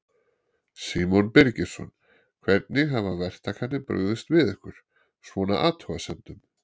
Símon Birgisson: Hvernig hafa verktakarnir brugðist við ykkar, svona, athugasemdum?